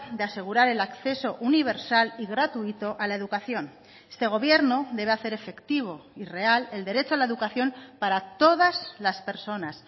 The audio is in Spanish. de asegurar el acceso universal y gratuito a la educación este gobierno debe hacer efectivo y real el derecho a la educación para todas las personas